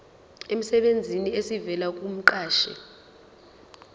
emsebenzini esivela kumqashi